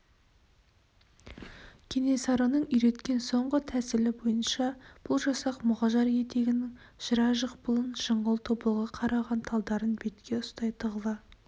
кенесарының үйреткен соңғы тәсілі бойынша бұл жасақ мұғажар етегінің жыра жықпылын жыңғыл тобылғы қараған талдарын бетке ұстай тығыла